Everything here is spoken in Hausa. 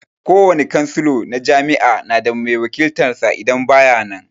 Kowane cansalo na jami'a na da mai wakiltan sa idan ba ya nan